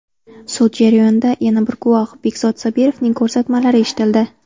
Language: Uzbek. Sud jarayonida yana bir guvoh Begzod Sobirovning ko‘rsatmalari eshitildi.